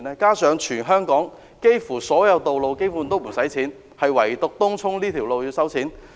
再者，全港幾乎所有道路都不用收費，唯獨東涌這條路要收費。